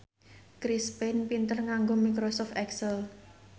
Chris Pane pinter nganggo microsoft excel